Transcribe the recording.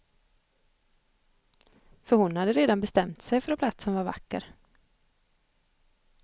För hon hade redan bestämt sig för att platsen var vacker.